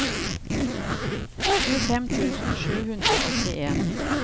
tjuefem tusen sju hundre og åttien